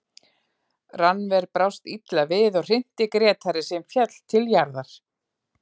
Rannver brást illa við og hrinti Grétari sem féll til jarðar.